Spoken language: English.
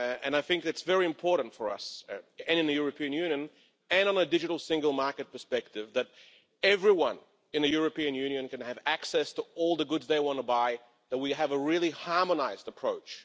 I think it's very important for us, both in the European Union and from a digital single market perspective, that everyone in the European Union can have access to all the goods they want to buy that we have a really harmonised approach.